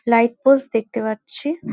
Light post দেখতে পাচ্ছি।